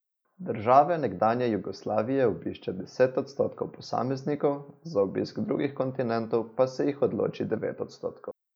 Države nekdanje Jugoslavije obišče deset odstotkov posameznikov, za obisk drugih kontinentov pa se jih odloči devet odstotkov.